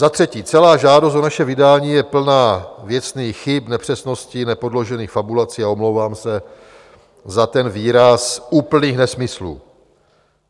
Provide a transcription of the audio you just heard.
"Za třetí, celá žádost o naše vydání je plná věcných chyb, nepřesností, nepodložených fabulací a - omlouvám se za ten výraz - úplných nesmyslů.